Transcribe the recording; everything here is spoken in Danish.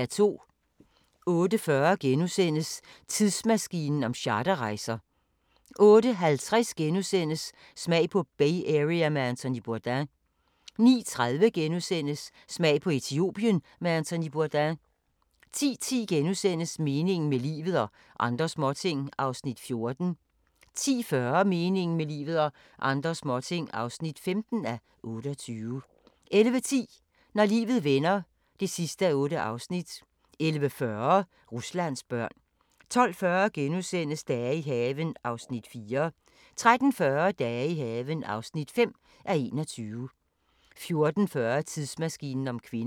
08:40: Tidsmaskinen om charterrejser * 08:50: Smag på Bay Area med Anthony Bourdain * 09:30: Smag på Etiopien med Anthony Bourdain * 10:10: Meningen med livet – og andre småting (14:28)* 10:40: Meningen med livet – og andre småting (15:28) 11:10: Når livet vender (8:8) 11:40: Ruslands børn 12:40: Dage i haven (4:21)* 13:40: Dage i haven (5:21) 14:40: Tidsmaskinen om kvinder